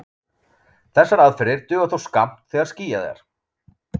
Þessar aðferðir duga þó skammt þegar skýjað er.